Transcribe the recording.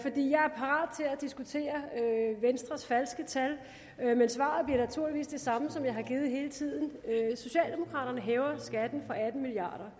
diskutere venstres falske tal men svaret bliver naturligvis det samme som jeg har givet hele tiden socialdemokraterne hæver skatten med atten milliard